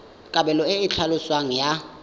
kabelo e e tlhaloswang ya